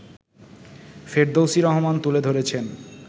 ফেরদৌসী রহমান তুলে ধরেছেন